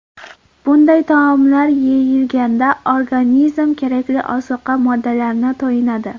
Bunday taomlar yeyilganda organizm kerakli ozuqa moddalariga to‘yinadi.